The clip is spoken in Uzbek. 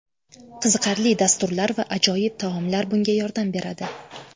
Qiziqarli dasturlar va ajoyib taomlar bunga yordam beradi.